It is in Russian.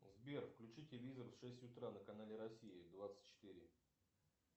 сбер включи телевизор в шесть утра на канале россия двадцать четыре